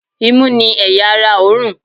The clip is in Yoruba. imú ni eya ará òorùn